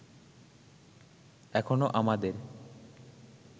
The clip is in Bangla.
এখনো আমাদের